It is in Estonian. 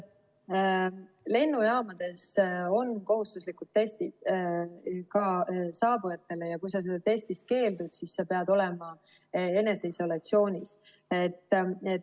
Lennujaamades on kohustuslikud testid saabujatele ja kui sa sellest testist keeldunud, siis sa pead olema eneseisolatsioonis.